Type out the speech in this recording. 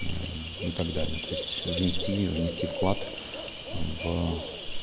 и так далее то есть внести внести вклад в